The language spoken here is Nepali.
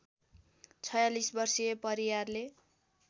४६ वर्षीय परियारले